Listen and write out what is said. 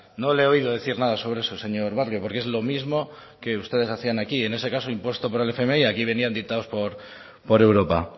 no le he oído decir nada sobre eso señor barrio porque es lo mismo que ustedes hacían aquí en ese caso impuesto por el fmi aquí venían dictados por europa